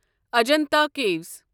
Ajanta کیٖوس